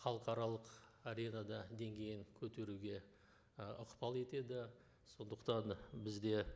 халықаралық аренада деңгейін көтеруге і ықпал етеді сондықтан бізде